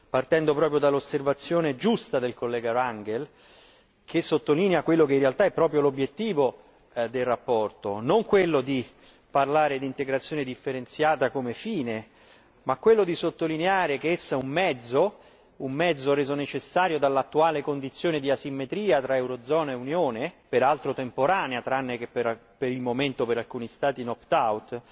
partendo proprio dall'osservazione giusta dell'onorevole Rangel, che sottolinea quello che in realtà è proprio l'obiettivo della relazione. Non quello di parlare di integrazione differenziata come fine, ma quello di sottolineare che essa è un mezzo, un mezzo reso necessario dall'attuale condizione di asimmetria tra eurozona e Unione, peraltro temporanea tranne che per il momento per alcuni Stati knocked out